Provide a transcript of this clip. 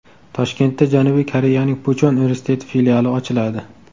Toshkentda Janubiy Koreyaning Puchon universiteti filiali ochiladi.